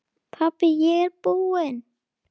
Pabbi ég er búinn!